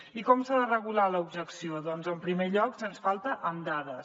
i com s’ha de regular l’objecció doncs en primer lloc sens falta amb dades